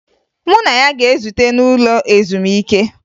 Mụ na ya ga-ezute n'ụlọ ezumike